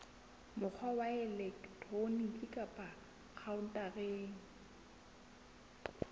mokgwa wa elektroniki kapa khaontareng